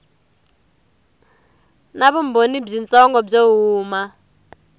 na vumbhoni byitsongo byo huma